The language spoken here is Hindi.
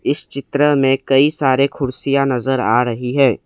इस चित्र में कई सारे कुर्सियां नजर आ रही है।